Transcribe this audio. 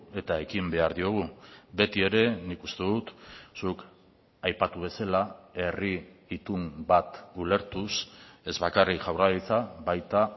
eta ekin behar diogu beti ere nik uste dut zuk aipatu bezala herri itun bat ulertuz ez bakarrik jaurlaritza baita